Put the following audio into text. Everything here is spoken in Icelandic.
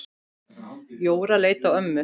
Jóra leit á ömmu.